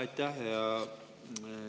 Aitäh!